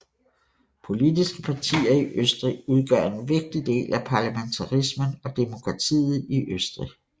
Politiske partier i Østrig udgør en vigtig del af parlamentarismen og demokratiet i Østrig